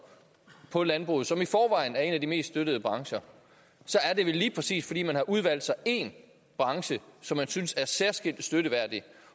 på landbruget som i forvejen er en af de mest støttede brancher så er det vel lige præcis fordi man har udvalgt sig én branche som man synes er særskilt støtteværdig